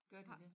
Gør de dét?